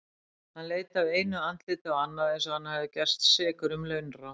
Hann leit af einu andliti á annað eins og hann hefði gerst sekur um launráð.